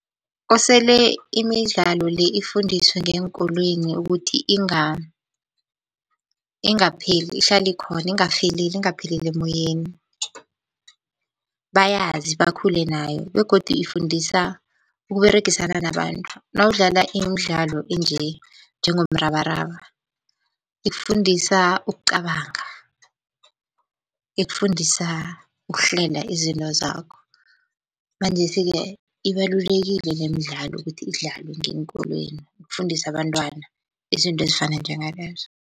Kosele imidlalo le ifundiswe ngeenkolweni ukuthi ingapheli ihlale ikhona. Ingafeleleli, ingapheleli emoyeni, bayazi bakhule nayo begodu ifundisa ukUberegisana nabantu, nawudlala imidlalo njengomrabaraba ikufundisa ukucabanga, ikufundisa ukuhlela izinto zakho. Manjesi-ke ibalulekile lemidlalo ukuthi idlalwe ngeenkolweni ukufundisa abantwana izinto ezifana njengalezo.